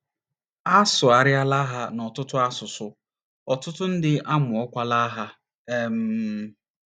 A sụgharịala ha n’ọtụtụ asụsụ, ọtụtụ ndị amụọkwala ha. um